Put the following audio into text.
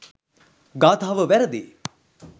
ගාථාව වැරැදියි.